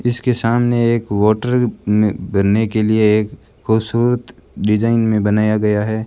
इसके सामने एक वॉटर म बनने के लिए एक खूबसूरत डिजाइन में बनाया गया है।